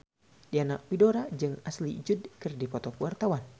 Diana Widoera jeung Ashley Judd keur dipoto ku wartawan